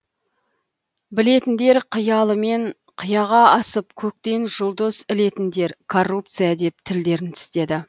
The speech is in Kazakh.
білетіндер қиялымен қияға асып көктен жұлдыз ілетіндер коррупция деп тілдерін тістеді